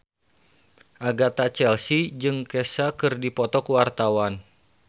Agatha Chelsea jeung Kesha keur dipoto ku wartawan